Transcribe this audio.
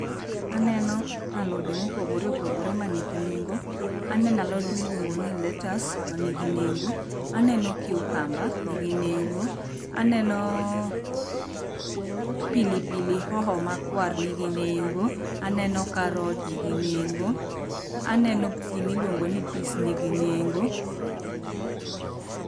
Aneno alode mopogore opogore manigi nengo. Anen alode miluongo ni lettuce manigi nengo. Aneno cucumber nigi nengo. Aneno pilipili hoho ma kwar nigi nengo. Aneno karat nigi nengo. Aneno gimi luongo ni peas nigi nengo.